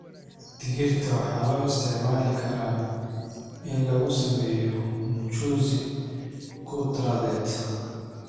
Digirta waxaa loo isticmaali karaa in lagu sameeyo mchuzi khudradeed.